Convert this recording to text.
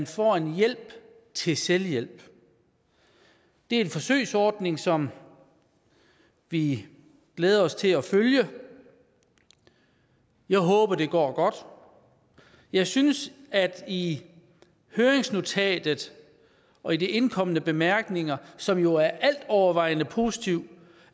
få en hjælp til selvhjælp det er en forsøgsordning som vi glæder os til at følge og jeg håber at det gå godt jeg synes at der i høringsnotatet og i de indkomne bemærkninger som jo altovervejende er positive